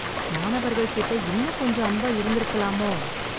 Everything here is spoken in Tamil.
மாணவர்கள்கிட்ட இன்னும் கொஞ்சம் அன்பா இருந்துருக்கலாமோ.